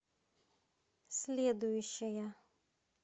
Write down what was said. следующая